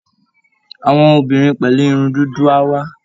Àwọn obìnrin pẹ̀lú irun dúdú á wá